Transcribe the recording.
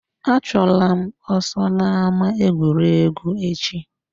Achụla m ọsọ n'ama egwuregwu echi!